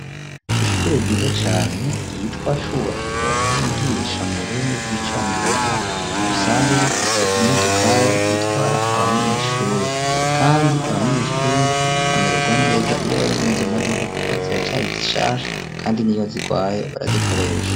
Ishuri ryiza cane ryitwa Cubahiro ryigisha mu rurimi rw'icongereza risanzwe rifise imodokari itwara abanyeshuri kandi abanyeshuri bamererwa neza iyo bari murizo modoka kuko ziracari zishasha kandi niyo zirwaye barazikoresha.